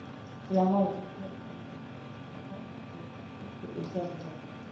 прямой эфир команд апл манчестер сити и бернли